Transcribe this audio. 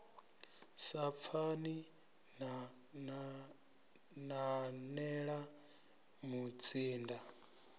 sa pfani na nanela mutsinda